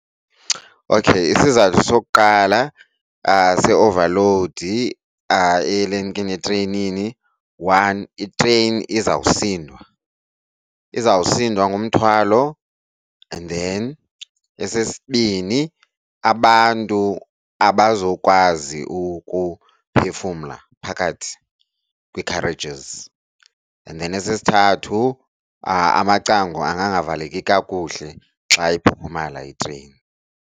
Okay, isizathu sokuqala se-overload etreyinini one itreyini izawusindwa, izawusindwa ngumthwalo. And then esesibini abantu abazokwazi ukuphefumla phakathi kwii-carriages, and then esesithathu amacango angangavaleki kakuhle xa iphuphumala itreyini.